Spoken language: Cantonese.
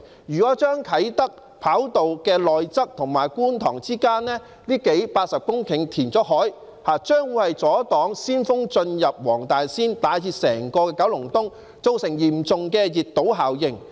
如果把啟德跑道的內側與觀塘之間這80多公頃的地方填海，將會阻擋鮮風進入黃大仙以至整個九龍東，造成嚴重的熱島效應。